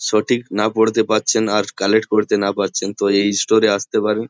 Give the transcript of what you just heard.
সঠিক না পড়িতে পারছেন আর কালেক্ট করিতে না পারছেন তো এই স্টোর -এ আসতে পারেন |